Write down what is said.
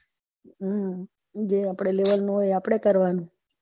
હમ જે અપડા level નું હોઈ અ અપડે કરવાનું